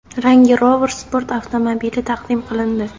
Range Rover Sport avtomobili taqdim qilindi.